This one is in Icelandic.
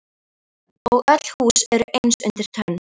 Og öll hús eru eins undir tönn.